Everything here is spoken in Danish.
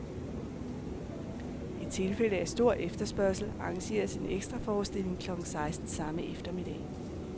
I tilfælde af stor efterspørgsel arrangeres en ekstraforestilling klokken seksten samme eftermiddag.